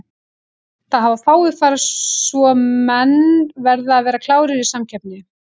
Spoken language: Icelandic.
Það hafa fáir farið svo menn verða að vera klárir í samkeppni.